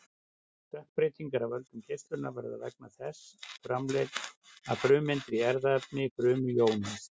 stökkbreytingar af völdum geislunar verða vegna þess að frumeindir í erfðaefni frumu jónast